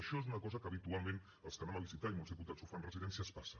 això és una cosa que habitualment els que anem a visitar i molts diputats ho fan residències passa